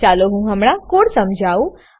ચાલો હું હમણાં કોડ સમજાઉં